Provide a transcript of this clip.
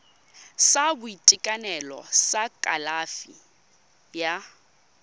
sa boitekanelo sa kalafi ya